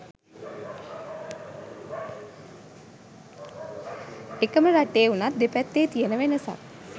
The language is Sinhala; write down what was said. එකම රටේ වුණත් දෙපැත්තේ තියෙන වෙනසත්